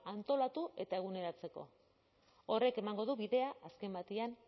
antolatu eta eguneratzeko horrek emango du bidea azken batean